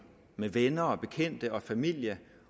med venner bekendte og familie